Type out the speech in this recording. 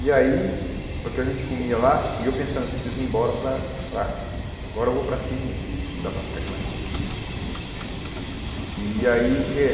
E aí, o que a gente comia lá, e eu pensando, preciso ir embora para para... Agora eu vou para Assis mesmo, não dá para ficar aqui mais não. E aí eh